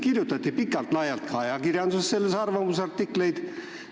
Sellest kirjutati pikalt-laialt ka ajakirjanduses arvamusartikleid.